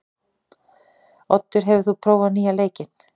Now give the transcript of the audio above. Oddur, hefur þú prófað nýja leikinn?